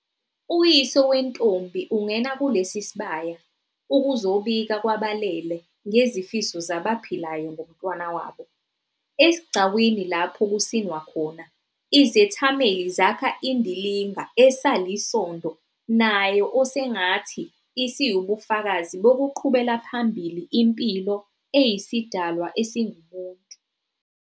Uyise wentombi ungena kulesi sibaya ukuzobika kwabalele ngezifiso zabaphilayo ngomntwana wabo. Esigcawini lapho kusinwa khona, izethameli zakha indilinga esalisondo nayo osengathithi isiwubufakazi bokuqhubela phambili impilo eyisidalwa esingumuntu.